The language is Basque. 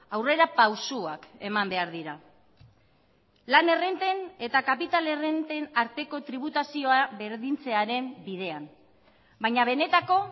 aurrera pausuak eman behar dira lan errenten eta kapital errenten arteko tributazioa berdintzearen bidean baina benetako